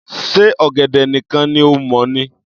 Ṣe ọ̀gẹ̀dẹ̀ nìkan ni o mọ̀ ni?